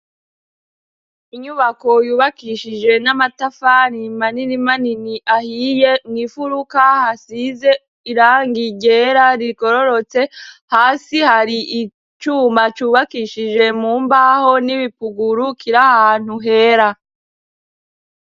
Inyubako yubakishije n'amatafani manini manini ahiye. Mw'imfuruka hasize irangi ryera rigororotse, hasi hari icuma cubakishije mu mbaho n'ibipuguru, kira ahantu hera.